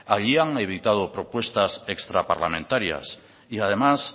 allí han evitado propuestas extraparlamentarias y además